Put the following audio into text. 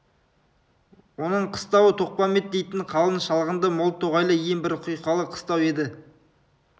оның қыстауы тоқпамбет дейтін қалың шалғынды мол тоғайлы ең бір құйқалы қыстау еді